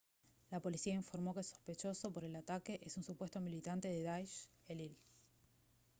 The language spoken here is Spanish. la policía informó que el sospechoso por el ataque es un supuesto militante de daish elil